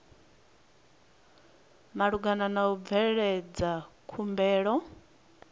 malugana na u bveledza khumbelo